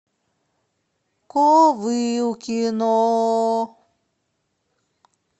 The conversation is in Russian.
ковылкино